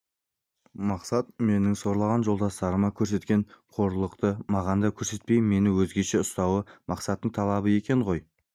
мақсат менің сорлаған жолдастарыма көрсеткен қорлықты маған да көрсетпей мені өзгеше ұстауы мақсаттың талабы екен ғой